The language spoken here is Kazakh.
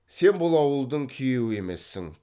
сен бұл ауылдың күйеуі емессің